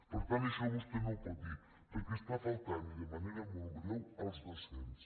per tant això vostè no ho pot dir perquè està faltant i de manera molt greu als docents